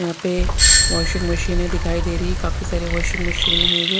यहां पे वाशिंग मशीने दिखाई दे रही है काफी सारी वाशिंग मशीन है ये --